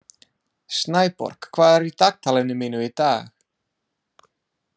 Snæborg, hvað er í dagatalinu mínu í dag?